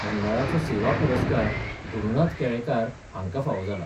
मंडळाचो सेवा पुरस्कार गुरूनाथ केळेकार हाँका फावो जाला.